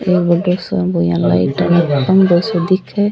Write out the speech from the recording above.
ये बड़ो सा अइया लाइटा खम्बों सो दिखे --